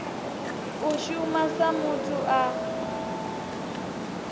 u shuma sa muthu a